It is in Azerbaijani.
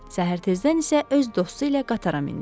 Səhər tezdən isə öz dostu ilə qatara mindi.